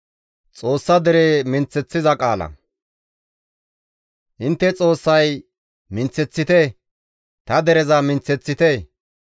Intte Xoossay, «Minththeththite! Ta dereza minththeththite!